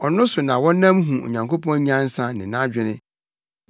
Ɔno so na wɔnam hu Onyankopɔn nyansa ne nʼadwene.